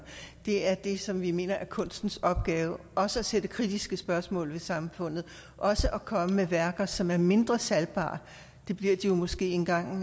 det er det som vi mener er kunstens opgave også at stille kritiske spørgsmål ved samfundet også at komme med værker som er mindre salgbare det bliver de måske engang